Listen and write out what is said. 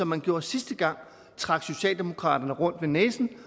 man gjorde sidste gang trækker socialdemokratiet rundt ved næsen